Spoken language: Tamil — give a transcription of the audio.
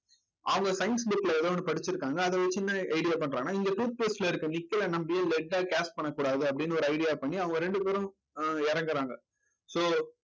அவங்க science book ல ஏதோ ஒண்ணு படிச்சிருக்காங்க. அது ஒரு சின்ன idea பண்றாங்கன்னா இங்க toothpaste ல இருக்க நிக்கல்ல நம்பி பண்ணக்கூடாது அப்படின்னு ஒரு idea பண்ணி அவங்க ரெண்டு பேரும் ஆஹ் இறங்கறாங்க